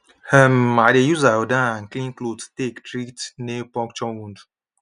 um i dey use iodine and clean cloth take treat nail puncture wound